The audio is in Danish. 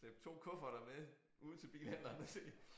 Slæbt 2 kufferter med ud til bilerne og se